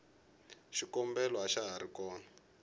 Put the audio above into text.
xiyombela axa hari kona